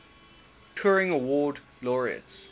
turing award laureates